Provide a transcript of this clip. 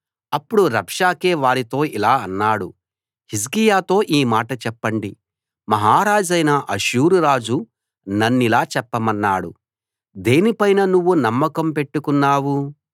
అప్పుడు రబ్షాకే వారితో ఇలా అన్నాడు హిజ్కియాతో ఈ మాట చెప్పండి మహారాజైన అష్షూరురాజు నన్నిలా చెప్పమన్నాడు దేనిపైన నువ్వు నమ్మకం పెట్టుకున్నావు